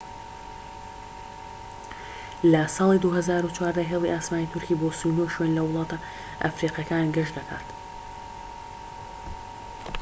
لە ساڵی 2014 هێڵی ئاسمانی تورکی بۆ 39 شوێن لە وڵاتە ئەفریقیەکان گەشت دەکات